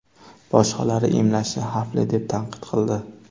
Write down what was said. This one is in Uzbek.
Boshqalari emlashni xavfli deb tanqid qildi.